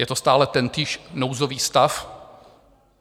Je to stále tentýž nouzový stav.